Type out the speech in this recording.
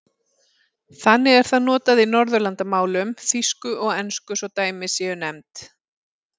Þannig er það notað í Norðurlandamálum, þýsku og ensku svo dæmi séu nefnd.